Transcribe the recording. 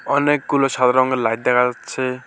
অনেকগুলো সাদা রঙের লাইট দেখা যাচ্ছে।